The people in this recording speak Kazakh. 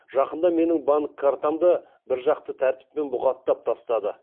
жақында менің банк картамды біржақты тәртіппен бұғаттап тастады